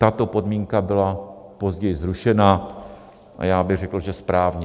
Tato podmínka byla později zrušena - a já bych řekl, že správně.